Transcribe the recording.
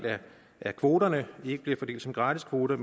af kvoterne ikke bliver fordelt som gratiskvoter